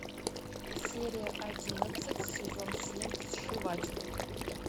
серия одиннадцать сезон семь сшиватели